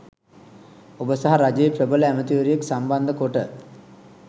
ඔබ සහ රජයේ ප්‍රබල ඇමැතිවරයෙක් සම්බන්ධකොට